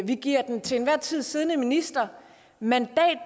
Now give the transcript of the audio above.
giver den til enhver tid siddende minister mandat